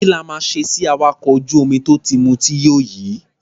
Kí la máa ṣe sí awakọ̀ ojú-omi tó ti mutí yó yìí?